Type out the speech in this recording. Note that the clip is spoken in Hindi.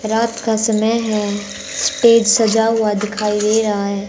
रात का समय है स्टेज सजा हुआ दिखाई दे रहा है।